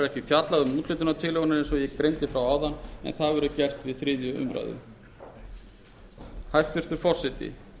fjallað um úthlutunartillögurnar en það verður gert við þriðju umræðu hæstvirtur forseti